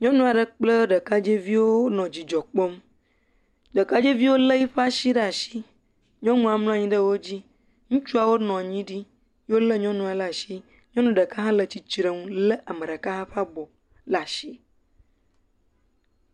Nyɔnu aɖe kple ɖekadzeviwo le dzidzɔ kpɔm ɖekadzeviwo lé yi ƒe asi ɖe asi, nyɔnua mlɔ anyi ɖe wodzi, ŋutsuawo nɔ anyi ɖi eye wolé nyɔnua ɖe asi. Nyɔnu ɖeka hã le tsitre nu lé ame ɖeka ƒe abɔ ɖe asi.